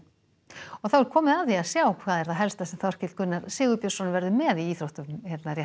og þá er komið að því að sjá það helsta sem Þorkell Gunnar Sigurbjörnsson verður með í íþróttafréttum hér